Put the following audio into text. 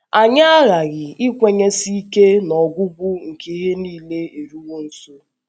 Anyị aghaghị ikwenyesi ike na “ ọgwụgwụ nke ihe nile eruwo nso. ”